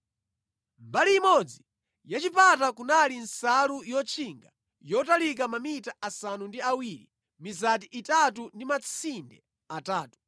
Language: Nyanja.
Mbali imodzi yachipata kunali nsalu yotchinga yotalika mamita asanu ndi awiri, mizati itatu ndi matsinde atatu,